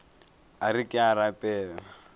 a re ke a rapela